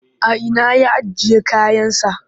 A ina ya ajiye kayansa?